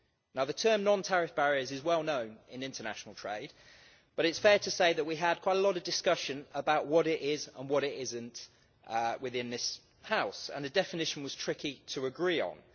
Now the term non-tariff barriers' is well-known in international trade, but it's fair to say that we had quite a lot of discussion about what it is and what it isn't within this house, and the definition was tricky to agree on.